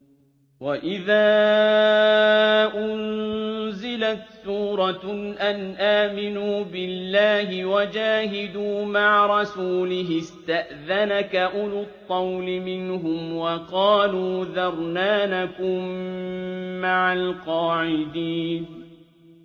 وَإِذَا أُنزِلَتْ سُورَةٌ أَنْ آمِنُوا بِاللَّهِ وَجَاهِدُوا مَعَ رَسُولِهِ اسْتَأْذَنَكَ أُولُو الطَّوْلِ مِنْهُمْ وَقَالُوا ذَرْنَا نَكُن مَّعَ الْقَاعِدِينَ